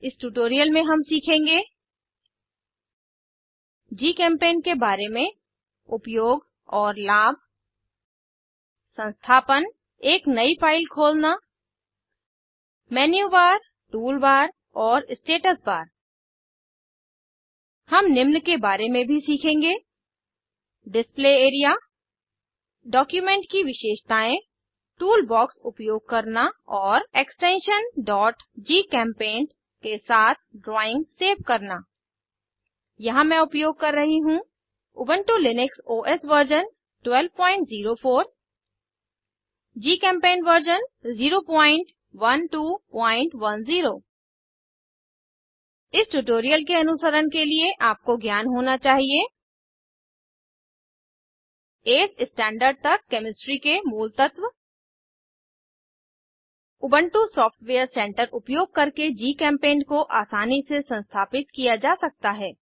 इस ट्यूटोरियल में हम सीखेंगे जीचेम पैंट के बारे में उपयोग और लाभ संस्थापन एक नयी फाइल खोलना मेन्यूबार टूलबार और स्टेटस बार हम निम्न के बारे में भी सीखेंगे डिस्प्ले एरिया डॉक्यूमेंट की विशेषतायें टूल बॉक्स उपयोग करना और एक्सटेंशन gchempaint के साथ ड्राइंग सेव करना यहाँ मैं उपयोग कर रही हूँ Ubuntu Linux OS version 1204 GChemPaint version 01210 इस ट्यूटोरियल के अनुसरण के लिए आपको ज्ञान होना चाहिए वी स्टैण्डर्ड तक केमिस्ट्री के मूलतत्व उबन्टु सॉफ्टवेयर सेंटर उपयोग करके जीचेम्पेंट को आसानी से संस्थापित किया जा सकता है